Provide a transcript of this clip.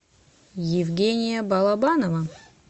евгения балабанова